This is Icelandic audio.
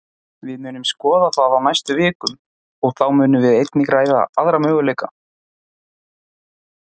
Við munum skoða það á næstu vikum, og þá munum við einnig ræða aðra möguleika.